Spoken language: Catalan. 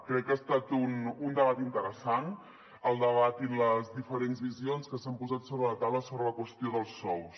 crec que ha estat un debat interessant el debat i les diferents visions que s’han posat sobre la taula sobre la qüestió dels sous